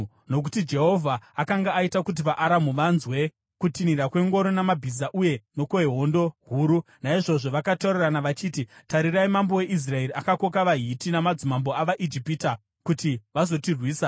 nokuti Jehovha akanga aita kuti vaAramu vanzwe kutinhira kwengoro namabhiza uye nokwehondo huru, naizvozvo, vakataurirana vachiti, “Tarirai mambo weIsraeri akakoka vaHiti namadzimambo avaIjipita kuti vazotirwisa!”